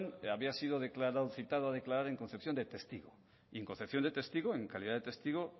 había sido citado a declarar en concepción de testigo y en concepción de testigo en calidad de testigo